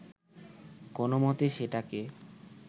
কোনমতে সেটাকে